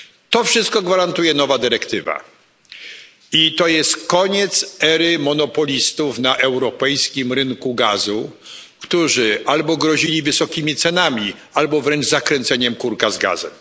To wszystko gwarantuje nowa dyrektywa i to jest koniec ery monopolistów na europejskim rynku gazu, którzy albo grozili wysokimi cenami albo wręcz zakręceniem kurka z gazem.